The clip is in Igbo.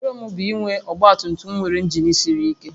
Nrọ m bụ inwe ọgba tum tum nwere injin siri ike